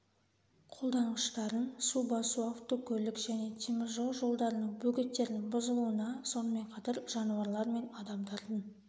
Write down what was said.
қолданғыштарын су басу автокөлік және темір жол жолдарының бөгеттердің бұзылуына сонымен қатар жануарлар мен адамдардың